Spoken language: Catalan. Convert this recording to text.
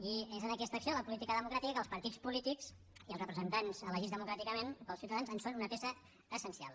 i és en aquesta acció de la política democràtica que els partits polítics i els representants elegits democràticament pels ciutadans són una peça essencial